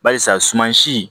Barisa sumansi